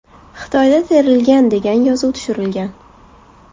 Xitoyda terilgan” degan yozuv tushirilgan.